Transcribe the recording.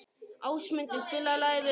Ásmundur, spilaðu lagið „Við vatnið“.